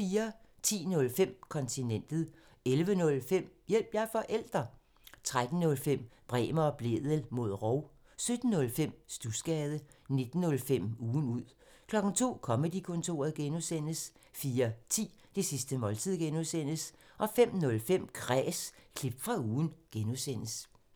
10:05: Kontinentet 11:05: Hjælp – jeg er forælder! 13:05: Bremer og Blædel mod rov 17:05: Studsgade 19:05: Ugen ud 02:00: Comedy-kontoret (G) 04:10: Det sidste måltid (G) 05:05: Kræs – klip fra ugen (G)